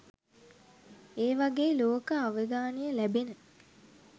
ඒවගේ ලෝක අවදානය ලැබෙන